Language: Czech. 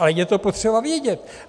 A je to potřeba vědět.